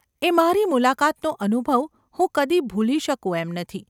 એ મારી મુલાકાતનો અનુભવ હું કદી ભૂલી શકું એમ નથી.